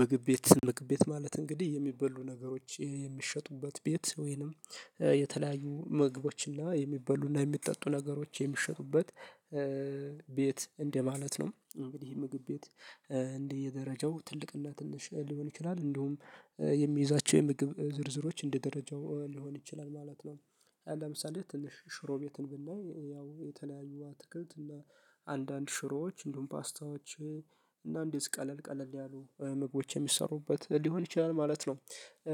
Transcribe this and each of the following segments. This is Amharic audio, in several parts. ምግብ ቤት ምግብ ቤት ማለት እንግዲህ የሚበሉ ነገሮች የሚሸጡበት ቤት ወይንም የተለያዩ ምግቦችና የሚበሉና የሚጠጡ ነገሮች የሚሸጡበት ቤት እንደ ማለት ነው እንግዲህ ምግብ ቤት እንደ የደረጃው ትልቅ እና ትንሽ ሊሆን ይችላል እንደውም የሚይዛቸው የምግብ ዝርዝሮች እንደ ደረጃ ሊሆን ይችላል ማለት ነው። ለምሳሌ ትንሽ ሽሮ ቤትን ብናይ ያው የተለያዩ አትክልት እና አንዳንድ ሽሮዎች እንዲሁም ፓስታዎች እና እንደዚህ ቀለል ቀለል ያሉ ምግቦች የሚሰሩበት ሊሆን ይችላል ማለት ነው።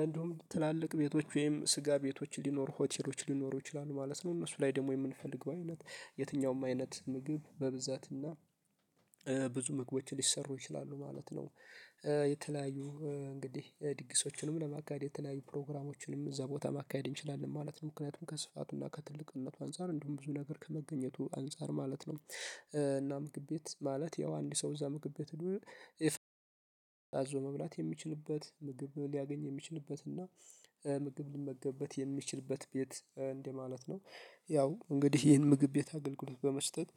እንዲሁም ትላልቅ ቤቶች ወይም ስጋ ቤቶች ሊኖሩ ሆቴሎች ሊኖሩ ይችላሉ ማለት ነው። እነሱ ላይ ደግሞ የምንፈልገው አይነት የትኛውም አይነት ምግብ በብዛትና ብዙ ምግቦች ሊሰሩ ይችላሉ ማለት ነው። የተለያዩ እንግዲህ ድግሶችንም ለማካሄድ የተለያዩ ፕሮግራሞችንም እዛ ቦታ ማካሄድ እንችላለን ማለት ነው። ምክንያቱም ከስፋቱና ከትልቅነቱ አንፃር እንዲሁም ብዙ ነገር ከመገኘቱ አንፃር ማለት ነው። እና ምግብ ቤት ማለት ያው አንድ ሰው እዛ ምግብ ቤት። ሄዶ አዞ መብላት የሚችልበት ምግብ ሊያገኝ የሚችልበት እና ምግብ ሊመገብበት የሚችልበት ቤት እንደማለት ነው። ያው እንግዲህ ይህን ምግብ ቤት አገልግሎት በመስጠት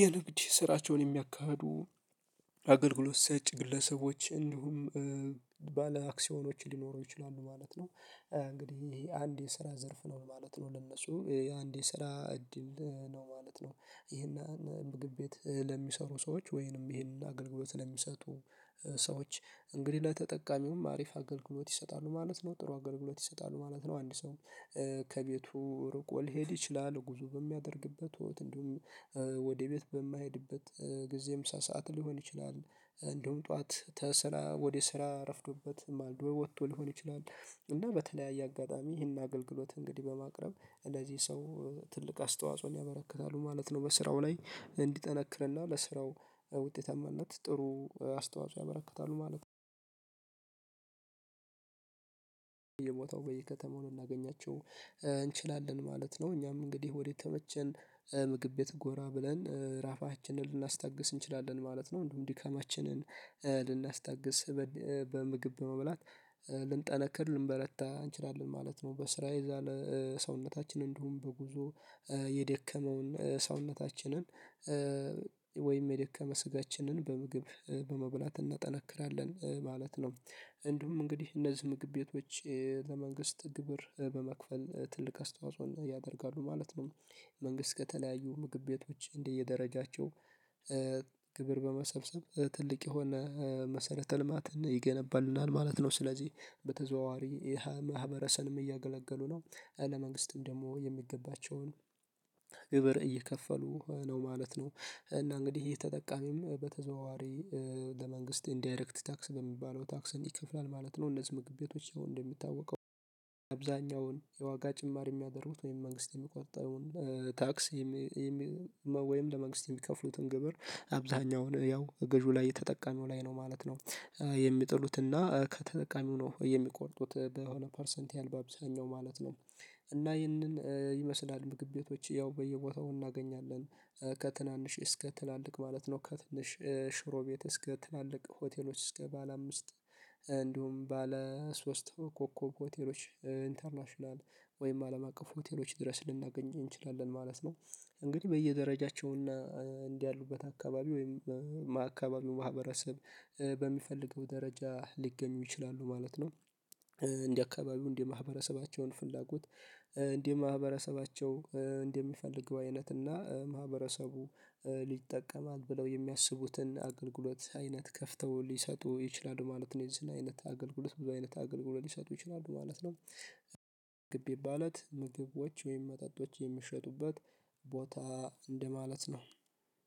የንግድ ስራቸውን የሚያካሂዱ አገልግሎት ሰጪ ግለሰቦች እንዲሁም ባለአክሲዮኖች ሊኖሩ ይችላሉ ማለት ነው። እንግዲህ ይሄ አንድ የስራ ዘርፍ ነው ማለት ነው። ለነሱ አንድ የስራ እድል ነው ማለት ነው። ይሄን ምግብ ቤት ለሚሰሩ ሰዎች ወይንም ይሄን አገልግሎት ለሚሰጡ ሰዎች እንግዲህ ለተጠቃሚውም አሪፍ አገልግሎት ይሰጣሉ ማለት ነው። ጥሩ አገልግሎት ይሰጣሉ ማለት ነው። አንድ ሰው ከቤቱ ርቆ ሊሄድ ይችላል ጉዞ በሚያደርግበት ወይ እንደውም ወደ ቤት በማይሄድበት ጊዜ ምሳ ሰዓት ሊሆን ይችላል። እንደውም ጠዋት ተስራ ወደ ስራ ረፍዶበት ማልዶ ወጥቶ ሊሆን ይችላል። እና በተለያየ አጋጣሚ ይሄን አገልግሎት እንግዲህ በማቅረብ እንደዚህ ሰው ትልቅ አስተዋጽኦን ያበረክታሉ ማለት ነው። በስራው ላይ እንዲጠነክርና ለስራው ውጤታማነት ጥሩ አስተዋጽኦ ያበረክታሉ ማለት ነው። በየቦታው በየከተማው ልናገኛቸው እንችላለን ማለት ነው። እኛም እንግዲህ ወደተመቸን ምግብ ቤት ጎራ ብለን ራባችንን ልናስታግስ እንችላለን ማለት ነው። እንደውም ድካማችንን ልናስታግስ በምግብ መብላት ልንጠነክር ልንበረታ እንችላለን ማለት ነው። በስራ የዛለ ሰውነታችን እንዲሁም በጉዞ የደከመውን ሰውነታችንን ወይም የደከመ ስጋችንን በምግብ በመብላት እናጠነክራለን ማለት ነው። እንዲሁም እንግዲህ እነዚህ ምግብ ቤቶች ለመንግስት ግብር በመክፈል ትልቅ አስተዋጽኦን ያደርጋሉ ማለት ነው። መንግስት ከተለያዩ ምግብ ቤቶች እንዲህ እየደረጃቸው ግብር በመሰብሰብ ትልቅ የሆነ መሰረተ ልማትን ይገነባልናል ማለት ነው። ስለዚህ በተዘዋዋሪ ይህን ማህበረሰብንም እያገለገሉ ነው። እለ መንግስትም ደግሞ የሚገባቸውን ግብር እየከፈሉ ነው ማለት ነው። እና እንግዲህ ይሄ ተጠቃሚም በተዘዋዋሪ ለመንግስት ኢንዳይሬክት ታክስ በሚባለው ታክስን ይከፍላል ማለት ነው። እነዚህ ምግብ ቤቶች እንደምታወቀው አብዛኛውን የዋጋ ጭማር የሚያደርጉት ወይም መንግስት የሚቆርጠውን ታክስ ወይም ለመንግስት የሚከፍሉትን ግብር አብዛኛውን ያው ገዢው ላይ ተጠቃሚው ላይ ነው ማለት ነው። የሚጥሉትና ከተጠቃሚው ነው የሚቆርጡት በሆነ ፐርሰንት ያህል በአብዛኛው ማለት ነው። እና ይህንን ይመስላል ምግብ ቤቶች ያው በየቦታው እናገኛለን። ከትናንሽ እስከ ትላልቅ ማለት ነው ከትንሽ ሽሮ እስከ ትላልቅ ሆቴሎች እስከ ባለ አምስት እንዲሁም ባለ ሶስት ኮከብ ሆቴሎች ኢንተርናሽናል ወይም አለም አቀፍ ሆቴሎች ድረስ ልናገኝ እንችላለን ማለት ነው። እንግዲህ በየደረጃቸውና እንደ ያሉበት አካባቢ ወይም አካባቢው ማህበረሰብ በሚፈልገው ደረጃ ሊገኙ ይችላሉ ማለት ነው። እንደ አካባቢው እንደ ማህበረሰባቸውን ፍላጎት እንደ ማህበረሰባቸው እንደሚፈልገው አይነትና ማህበረሰቡ ይጠቀማት ብለው የሚያስቡትን አገልግሎት አይነት ከፍተው ሊሰጡ ይችላሉ ማለት ነው። እዚህን አይነት አገልግሎት ብዙ አይነት አገልግሎት ሊሰጡ ይችላሉ ማለት ነው። ምግብ ቤት ማለት ምግቦች ወይም መጠጦች የሚሸጡበት ቦታ እንደማለት ነው